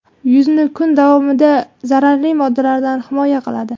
Yuzni kun davomida zararli moddalardan himoya qiladi.